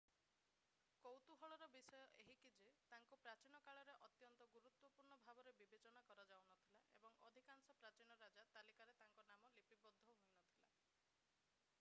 କୌତୁହଳର ବିଷୟ ଏହିକି ଯେ ତାଙ୍କୁ ପ୍ରାଚୀନ କାଳରେ ଅତ୍ୟନ୍ତ ଗୁରୁତ୍ୱପୂର୍ଣ୍ଣ ଭାବରେ ବିବେଚନା କରାଯାଉନଥିଲା ଏବଂ ଅଧିକାଂଶ ପ୍ରାଚୀନ ରାଜା ତାଲିକାରେ ତାଙ୍କର ନାମ ଲିପିବଦ୍ଧ ହୋଇନଥିଲା